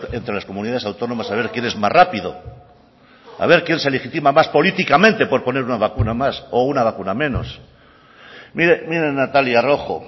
entre las comunidades autónomas a ver quién es más rápido a ver quién se legitima más políticamente por poner una vacuna más o una vacuna menos mire natalia rojo